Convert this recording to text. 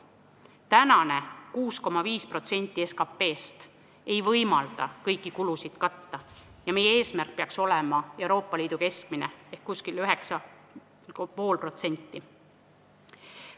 Tänane 6,5% SKP-st ei võimalda kõiki kulusid katta ja meie eesmärk peaks olema Euroopa Liidu keskmine ehk umbes 9,5%.